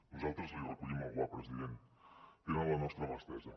nosaltres li recollim el guant president tenen la nostra mà estesa